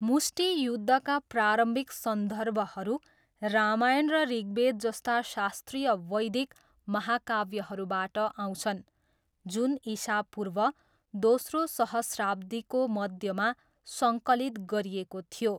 मुष्टि युद्धका प्रारम्भिक सन्दर्भहरू रामायण र ऋग्वेद जस्ता शास्त्रीय वैदिक महाकाव्यहरूबाट आउँछन्, जुन इसापूर्व दोस्रो सहस्राब्दीको मध्यमा सङ्कलित गरिएको थियो।